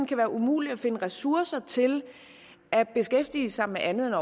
kan være umuligt at finde ressourcer til at beskæftige sig med andet end